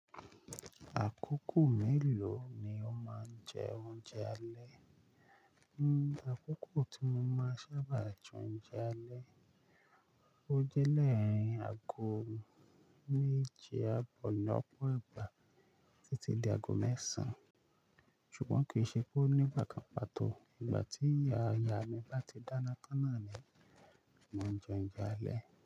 Àkókò mélòó ni o máa ń jẹ oúnjẹ alẹ́? Àkókò tí mo máa sábà jẹ oúnjẹ alẹ́, ó jẹ́ lẹ́yìn aago méje àbọ̀ ní ọ̀pọ̀ ìgbà títí di aago mẹ́sàn án. Ṣùgbọ́n kì í ṣe pé ó nígbà kan pàtó ìgbà tí ìyá ìyá mi báti dáná tán ná ni mo máa ń jẹ oúnjẹ alẹ́